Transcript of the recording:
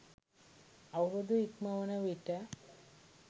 අවුරුදු ඉක්මවන විට